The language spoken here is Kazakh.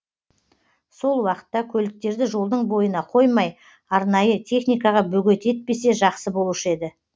сол уақытта көліктерді жолдың бойына қоймай арнайы техникаға бөгет етпесе жақсы болушы еді